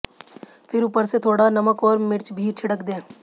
फिर ऊपर से थोड़ा नमक और मिर्च भी छिड़क दें